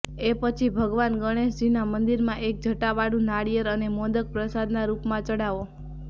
એ પછી ભગવાન ગણેશજીના મંદિરમાં એક જટાવાળું નારિયેળ અને મોદક પ્રસાદના રૂપમાં ચઢાવો